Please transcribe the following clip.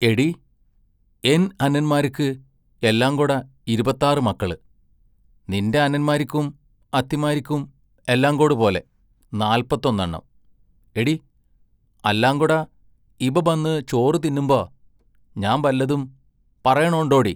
എടീ, എൻ അനന്മാരിക്ക് എല്ലാം കൊട ഇരുപത്താറ് മക്കള്; നിന്റെ അനന്മാരിക്കും അത്തിമാരിക്കും എല്ലാങ്കോട് പോലെ, നാല്പത്തൊന്നെണ്ണം എടീ, അല്ലാങ്കൊട ഇബ ബന്ന് ചോറു തിന്നുമ്പോ ഞാൻ ബല്ലദും പറേണൊണ്ടോടീ?